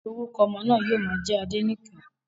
Orúkọ ọmọ náà yóò má jẹ́ Adenike